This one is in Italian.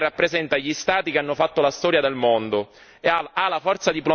Concludo dicendo che l'Unione rappresenta gli Stati che hanno fatto la storia del mondo.